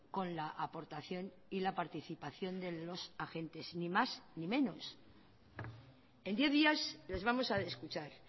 con la aportación y la participación de los agentes ni más ni menos en diez días les vamos a escuchar